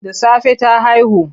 Da safe ta haihu.